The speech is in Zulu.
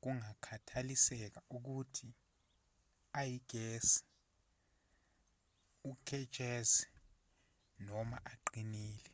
kungakhathaliseki ukuthi ayigesi uketshezi noma aqinile